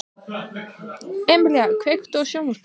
Emelíana, kveiktu á sjónvarpinu.